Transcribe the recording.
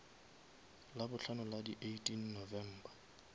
labohlano la di eighteen november